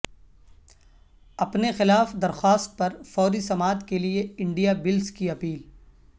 اپنے خلاف درخواست پر فوری سماعت کے لئے انڈیا بلس کی اپیل